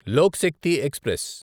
Lok Shakti express